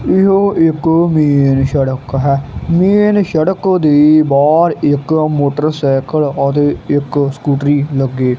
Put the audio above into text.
ਇਹੋ ਇੱਕ ਮੇਨ ਸੜਕ ਹੈ। ਮੇਨ ਸੜਕ ਦੇ ਬਾਹਰ ਇੱਕ ਮੋਟਰ ਸਾਈਕਲ ਅਤੇ ਇੱਕ ਸਕੂਟਰੀ ਲੱਗੇ --